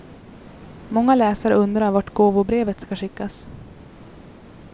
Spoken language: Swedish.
Många läsare undrar vart gåvobrevet ska skickas.